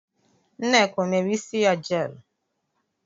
Nneka ọ mere isi ya jeelụ?